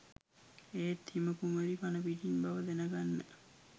ඒත් හිම කුමරී පණපිටින් බව දැන ගන්න